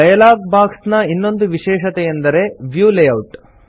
dialog box ನ ಇನ್ನೊಂದು ವಿಷೇಶತೆಯೆಂದರೆ ವ್ಯೂ ಲೇಯೌಟ್